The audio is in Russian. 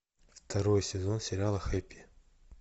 второй сезон сериала хэппи